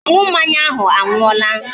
Ọṅụ mmanya ahụ anwụọla